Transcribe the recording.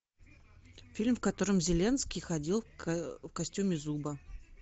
фильм в котором зеленский ходил в костюме зуба